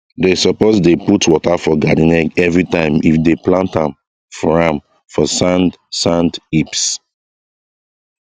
dey suppose dey put water for garden egg everytime if dey plant am for am for sand sand heaps